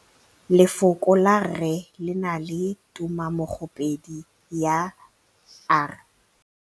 Lefoko la rre le na le tumammogôpedi ya, r.